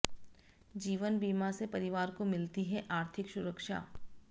जीवन बीमा से परिवार को मिलती है आर्थिक सुरक्षा